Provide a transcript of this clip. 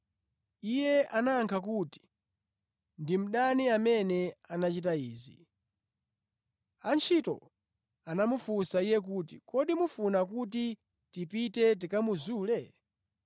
“Iye anayankha kuti, ‘Ndi mdani amene anachita izi.’ “Antchito anamufunsa iye kuti, ‘Kodi mufuna kuti tipite tikamuzule?’